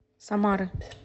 самары